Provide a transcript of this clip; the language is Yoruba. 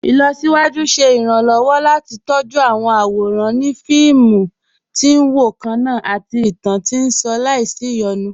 Ilọ̀síwájú ṣẹ̀ iranlọ́wọ́ láti tọjú awọn awóran ni awọn fíìmù tí n wọ kanna àti ìtàn tí nṣàn làísí iyonú.